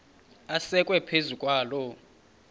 asekwe phezu kwaloo